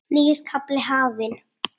Nýr kafli hafinn.